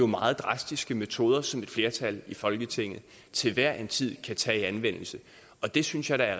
meget drastiske metoder som et flertal i folketinget til hver en tid kan tage i anvendelse og det synes jeg da